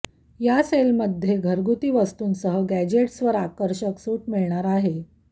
या सेलमध्ये घरगुती वस्तूंसह गॅजेट्सवर आकर्षक सूट मिळणार आहे